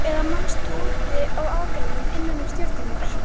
Eða manstu úti á akrinum innan um stjörnurnar.